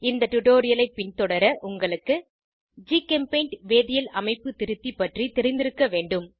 இந்த டுடோரியலை பின்தொடர உங்களுக்கு ஜிகெம்பெய்ண்ட் வேதியியல் அமைப்பு திருத்தி பற்றி தெரிந்திருக்க வேண்டும்